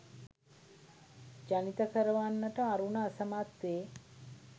ජනිත කරවන්නට අරුණ අසමත් වේ